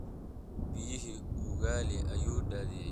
Biyihii ugaali ayuu daadiyay